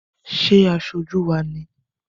Ṣé aṣojú wá ni?